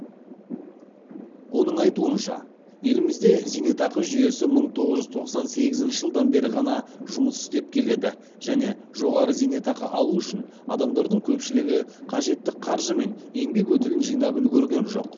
оның айтуынша елімізде зейнетақы жүйесі мың тоғыз жүз тоқсан сегізінші жылдан бері ғана жұмыс істеп келеді және жоғары зейнетақы алу үшін адамдардың көпшілігі қажетті қаржы мен еңбек өтілін жинап үлгерген жоқ